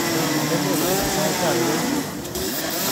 Magergei kolene saitab yu ak yuun